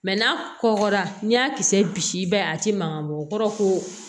n'a kɔgɔra n'i y'a kisɛ bi i ba ye a ti mankan bɔ o kɔrɔ ko